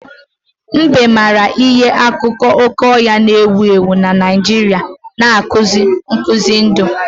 Mbe maara ihe na akụkọ oke ọhịa na-ewu ewu na Naijiria na-akụzi nkuzi ndụ.